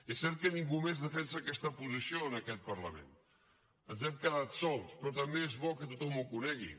és cert que ningú més defensa aquesta posició en aquest parlament ens hem quedat sols però també és bo que tothom ho conegui